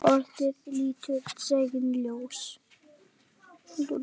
ORÐIÐ lítur dagsins ljós.